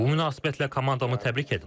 Bu münasibətlə komandamı təbrik edirəm.